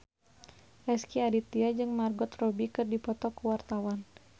Rezky Aditya jeung Margot Robbie keur dipoto ku wartawan